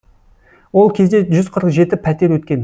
ол кезде жүз қырық жеті пәтер өткен